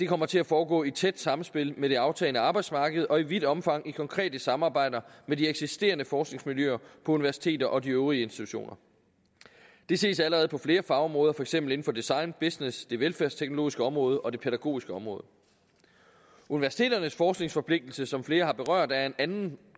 kommer til at foregå i et tæt samspil med det aftagende arbejdsmarked og i vidt omfang i konkrete samarbejder med de eksisterende forskningsmiljøer på universiteter og de øvrige institutioner det ses allerede på flere fagområder for eksempel inden for design business det velfærdsteknologiske område og det pædagogiske område universiteternes forskningsforpligtelse som flere har berørt er af en anden